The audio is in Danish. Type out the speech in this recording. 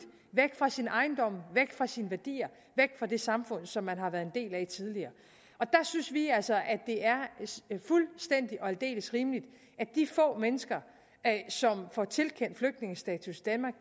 væk fra sine ejendomme væk fra sine værdier væk fra det samfund som man har været en del af tidligere der synes vi altså det er fuldstændig og aldeles rimeligt at de få mennesker som får tilkendt flygtningestatus